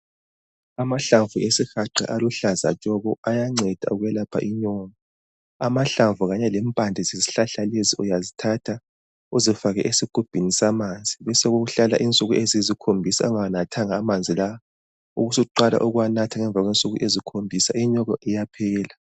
Amahlamvu awesihaqa aluhlaza tshoko, ayanceda ukwelapha inyongo. Amahlamvu kanye lempande zeshlahla lesi, uyazithatha uzifake esigubhini samanzi. Besekuhlala insuku eziyisikhombisa ungawanathanga amanzi la. Ubusuqala ukuwanatha ngemva kwensuku eziyisikhombisa. Inyongo iyaphela.